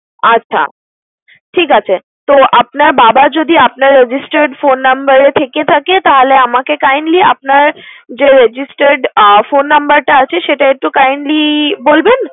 আচ্ছা, ঠিক আছে। তো, আপনার বাবা যদি আপনার registered phone number এ থেকে থাকে তাহলে আমাকে kindly আপনার যে registered আহ phone number টা আছে সেটা একটু kindly বলবেন?